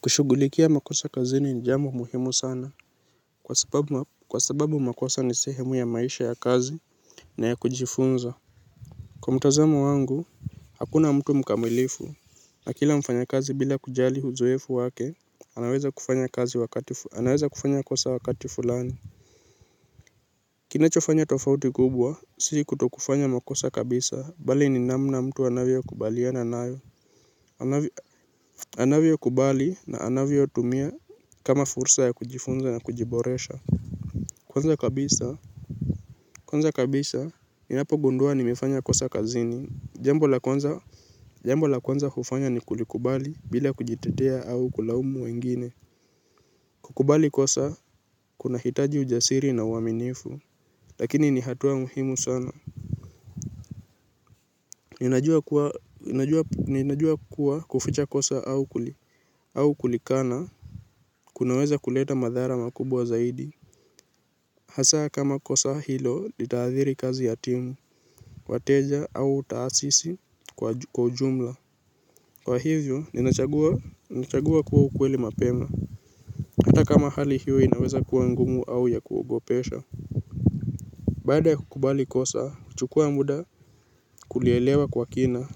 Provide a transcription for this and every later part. Kushughulikia makosa kazini ni jambo muhimu sana kwa sababu makosa ni sehemu ya maisha ya kazi na ya kujifunza kwa mtazamo wangu hakuna mtu mkamilifu na kila mfanyakazi bila kujali uzoefu wake anaweza kufanya kosa wakati fulani. Kinachofanya tofauti kubwa, sisi kutokufanya makosa kabisa, bali ni namna mtu anavyokubaliana nayo. Anavyokubali na anavyotumia kama fursa ya kujifunza na kujiboresha kwanza kabisa kwanza kabisa, ninapogundua nimefanya kosa kazini jambo la kwanza hufanya ni kulikubali bila kujitetea au kulaumu wengine kukubali kosa kunahitaji ujasiri na uaminifu lakini ni hatua muhimu sana ninajua kuwa kuficha kosa au kulikana kunaweza kuleta madhara makubwa zaidi hasaa kama kosa hilo litathiri kazi ya timu wateja au taasisi kwa ujumla kwa hivyo, ninachagua kuwa ukweli mapema hata kama hali hiyo inaweza kuwa ngumu au ya kuogopesha baada ya kukubali kosa, chukua muda kulielewa kwa kina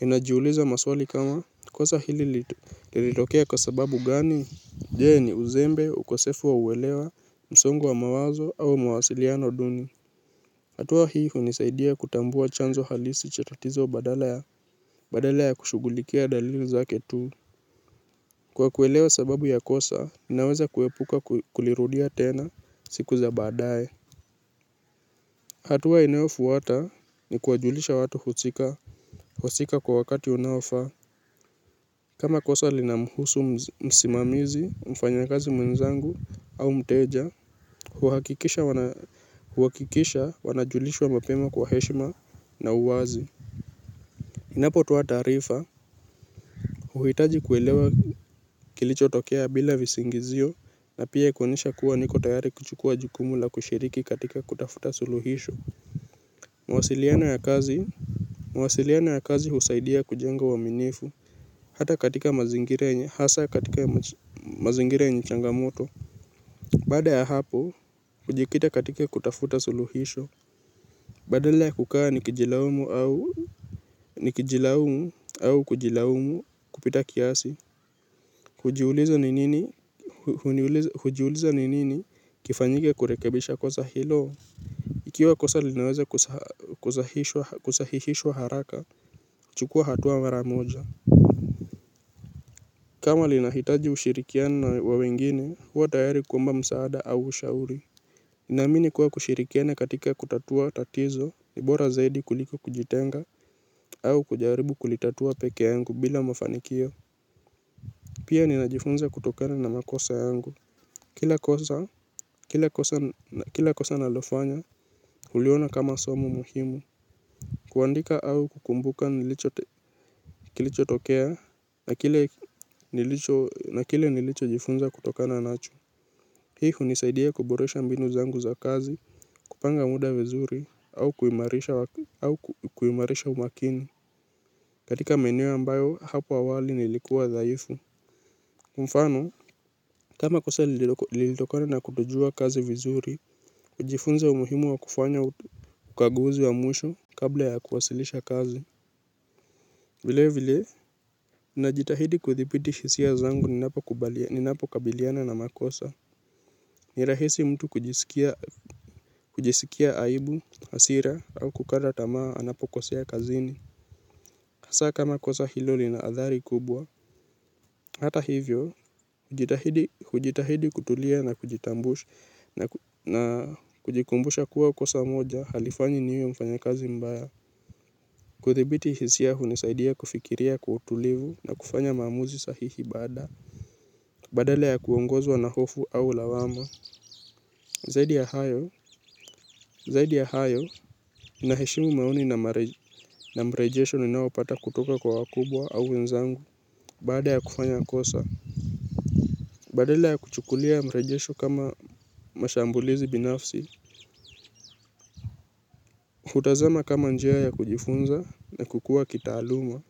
ninajiuliza maswali kama kosa hili lilitokea kwa sababu gani. Je ni uzembe ukosefu wa uelewa msongo wa mawazo au mawasiliano duni hatua hii hunisaidia kutambua chanzo halisi cha tatizo badala ya kushughulikia dalili zake tu kwa kuelewa sababu ya kosa ninaweza kuepuka kulirudia tena siku za baadaye hatua inayofuata ni kuwajulisha watu husika husika kwa wakati unaofaa kama kosa linamhusu msimamizi, mfanyakazi mwenzangu au mteja, huhakikisha wanajulishwa mapema kwa heshima na uwazi. Ninapotoa taarifa, huhitaji kuelewa kilichotokea bila visingizio na pia kuonyesha kuwa niko tayari kuchukua jukumu la kushiriki katika kutafuta suluhisho. Mawasiliano ya kazi husaidia kujenga uaminifu hata katika mazingira yenye hasa katika mazingira yenye changamoto baada ya hapo hujikita katika kutafuta suluhisho badala ya kukaa nikijilaumu au nikijilaumu au kujilaumu kupita kiasi hujiuliza ni nini hujiuliza ni nini kifanyike kurekebisha kosa hilo ikiwa kosa linaweze kusahishishwa haraka chukua hatua mara moja kama linahitaji ushirikiano wa wengine, huwa tayari kuomba msaada au ushauri naamini kuwa kushirikiana katika kutatua tatizo ni bora zaidi kuliko kujitenga au kujaribu kulitatua pekee yangu bila mafanikio pia ninajifunza kutokana na makosa yangu kila kosa kila kosa nalofanya huliona kama somo muhimu kuandika au kukumbuka kilichotokea na kile nilichojifunza kutokana nacho hii hunisaidia kuboresha mbinu zangu za kazi kupanga muda vizuri au kuimarisha umakini katika maeno ambayo hapo awali nilikuwa dhaifu kwa mfano kama kosa lilitokane na kutojua kazi vizuri hujifunza umuhimu wa kufanya ukaguzi wa mwisho kabla ya kuwasilisha kazi vile vile najitahidi kuthibiti hisia zangu ninapo kubalia ninapo kabiliana na makosa. Nirahisi mtu kujisikia kujisikia aibu hasira au kukata tamaa anapokosea kazini hasaa kama kosa hilo linaathari kubwa hata hivyo hujitahidi hujitahidi kutulia na kujitambusha na kujikumbusha kuwa kosa moja halifanyi niwe mfanyakazi mbaya kudhibiti hisia hunisaidia kufikiria kwa utulivu na kufanya maamuzi sahihi baada badala ya kuongozwa na hofu au lawama zaidi ya hayo naheshimu maoni na mrejesho ninayopata kutoka kwa wakubwa au wenzangu baada ya kufanya kosa. Badale ya kuchukulia mrejesho kama mashambulizi binafsi kutazama kama njia ya kujifunza na kukua kitaaluma.